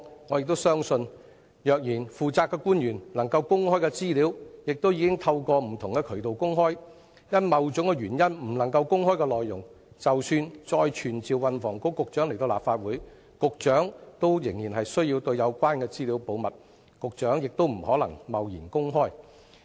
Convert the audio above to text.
我亦相信，能夠公開的資料，負責的官員已經透過不同的渠道公開；因某種原因而不能公開的內容，局長即使再被傳召到立法會，仍然需要保密，不可能貿然公開。